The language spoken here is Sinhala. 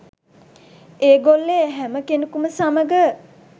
ඒගොල්ලේ හැම කෙනෙකුම සමග